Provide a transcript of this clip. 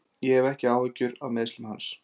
Ég hef ekki áhyggjur af meiðslum hans.